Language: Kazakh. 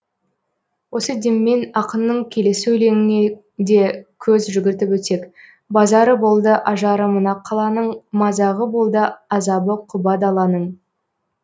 осы деммен ақынның келесі өлеңіне де көз жүгіртіп өтсек базары болды ажары мына қаланың мазағы болды азабы құба даланың